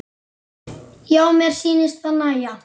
Já, mér sýnist það nægja!